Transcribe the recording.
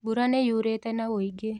Mbura nĩyurĩte na wũingĩ